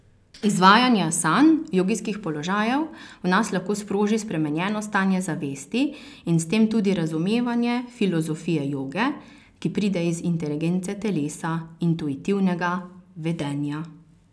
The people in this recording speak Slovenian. Izvajanje asan, jogijskih položajev, v nas lahko sproži spremenjeno stanje zavesti in s tem tudi razumevanje filozofije joge, ki pride iz inteligence telesa, intuitivnega vedenja.